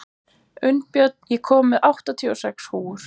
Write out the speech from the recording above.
Unnbjörn, ég kom með áttatíu og sex húfur!